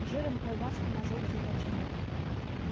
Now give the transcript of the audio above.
жиром колбасным ожог заврачевал